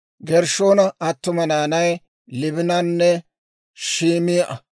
Gershshoona attuma naanay Liibinanne Shim"a.